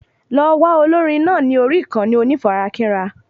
Lọ wá olórin náà ní orí ìkànnì onífarakínra